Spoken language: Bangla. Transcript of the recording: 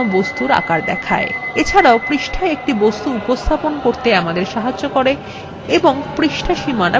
এছাড়াও এটা আমাদের পৃষ্ঠায় একটি বস্তুর উপস্থাপন করতে সক্ষম করে এবং পৃষ্ঠা সীমানা প্রদর্শন করে